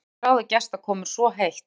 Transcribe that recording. Hún sem þráði gestakomur svo heitt!